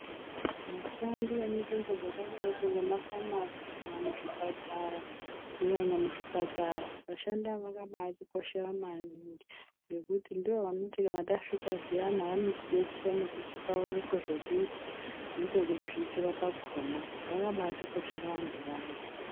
Vashandi vemunzvimbo dzakadaiko ngemafamasi kana muzvipatara, kunyanya muzvipatara, vashandi avo vanoatikhoshera maningi ngokuti ndivo vanoti tasvika zviyana vanotidetsera nekutitaurire zvekuita nepepekuzviitira pacho pakhona, vakhabaatikoshera vanthu vaya.